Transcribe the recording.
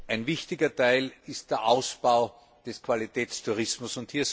Ein wichtiger Teil ist der Ausbau des Qualitätstourismus.